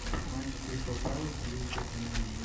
матча кристал пэлас английская премьер лига